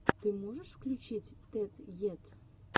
ты можешь включить тед ед